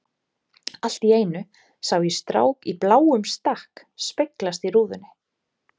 Allt í einu sá ég strák í bláum stakk speglast í rúðunni.